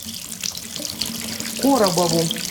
коробову